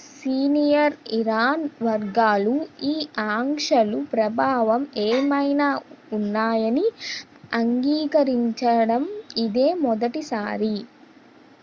senior Iran వర్గాలు ఈ ఆంక్షల ప్రభావం ఏమైనా ఉన్నాయని అంగీకరించడం ఇదే మొదటిసారి